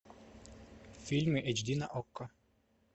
фильмы эйч ди на окко